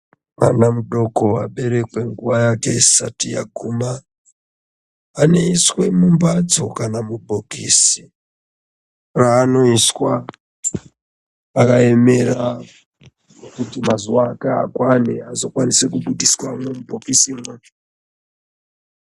Mwana mudoko aberekwe nguwa yake isati yaguma , anoiswe mumbatso kana mubhokisi raanoiswa akaemera kuti mazuwa ake akwane azokwanise kubudiswamwo mubhokisimwo .